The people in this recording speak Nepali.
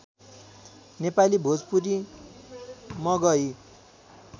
नेपाली भोजपुरी मगही